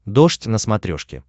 дождь на смотрешке